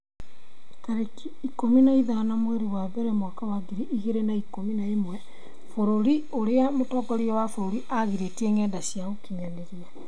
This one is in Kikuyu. tarĩki ikũmi na ithano mweri wa mbere mwaka wa ngiri igĩrĩ na ikũmi na ĩmwe Bũrũri ũrĩa mũtongoria wa bũrũri aagirĩtie ngenda cia ũkinyanĩria